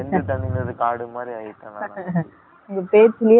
உங்க பேச்சுலயெ என்னால புரிஞ்சிக்க முடியுது